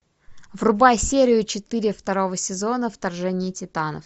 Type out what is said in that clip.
врубай серию четыре второго сезона вторжение титанов